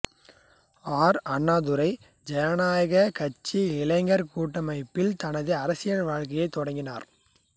R Annadurai ஜனநாயகக் கட்சி இளைஞர் கூட்டமைப்பில் தனது அரசியல் வாழ்க்கையைத் தொடங்கினார்